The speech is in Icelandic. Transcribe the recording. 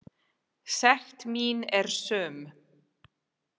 Sekt mín er söm.